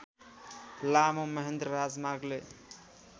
लामो महेन्द्र राजमार्गले